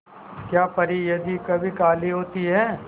क्या परी यदि कभी काली होती है